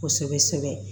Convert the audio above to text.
Kosɛbɛ kosɛbɛ